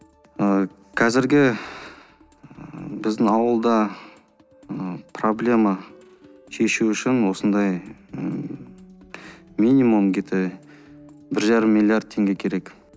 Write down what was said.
ы қазіргі біздің ауылда ы проблема шешу үшін осындай ммм минимум где то бір жарым миллиард теңге керек